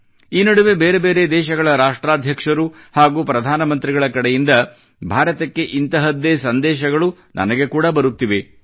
ಈ ನಡುವೆ ಬೇರೆ ಬೇರೆ ದೇಶಗಳ ರಾಷ್ಟ್ರಾಧ್ಯಕ್ಷರು ಹಾಗೂ ಪ್ರಧಾನ ಮಂತ್ರಿಗಳ ಕಡೆಯಿಂದ ಭಾರತಕ್ಕೆ ಇಂತಹದ್ದೇ ಸಂದೇಶಗಳು ನನಗೆ ಕೂಡಾ ಬರುತ್ತಿವೆ